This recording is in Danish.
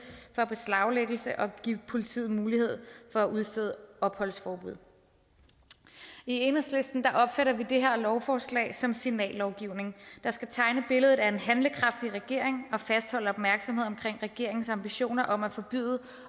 for beslaglæggelse samt at give politiet mulighed for at udstede opholdsforbud i enhedslisten opfatter vi det her lovforslag som signallovgivning der skal tegne billedet af en handlekraftig regering og fastholde opmærksomheden regeringens ambitioner om at forbyde